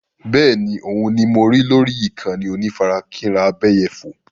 Bẹ́ẹ̀ni, òun ni mo rí lórí ìkànnì onífarakínra abẹ́yẹfò.